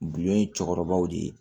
Du ye cɛkɔrɔbaw de ye